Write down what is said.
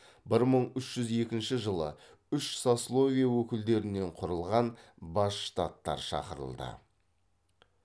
бір мың үш жүз екінші жылы үш сословие өкілдерінен құрылған бас штаттар шақырылды